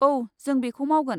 औ, जों बेखौ मावगोन।